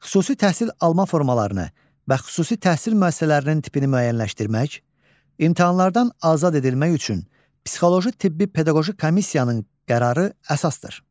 Xüsusi təhsil alma formalarını və xüsusi təhsil müəssisələrinin tipini müəyyənləşdirmək, imtahanlardan azad edilmək üçün psixoloji-tibbi-pedaqoji komissiyanın qərarı əsasdır.